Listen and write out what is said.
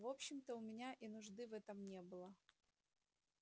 в общем-то у меня и нужды в этом не было